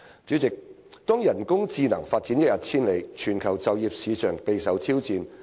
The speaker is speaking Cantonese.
主席，當人工智能發展一日千里，全球就業市場備受挑戰。